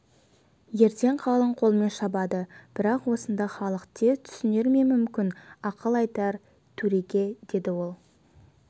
ертең қалың қолмен шабады бірақ осыны халық тез түсінер ме мүмкін ақыл айтар төреге деді ол